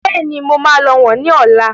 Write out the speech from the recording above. Bẹ́ẹ̀ni, mo máa lọ wọ̀n ni ọ̀la.